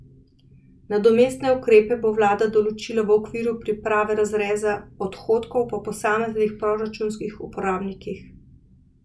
Nadomestne ukrepe bo vlada določila v okviru priprave razreza odhodkov po posameznih proračunskih uporabnikih.